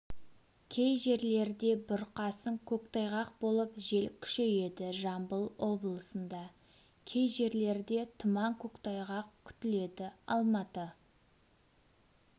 кей жерлерде бұрқасын көктайғақ болып жел күшейеді жамбыл облысында кей жерлерде тұман көктайғақ күтіледі алматы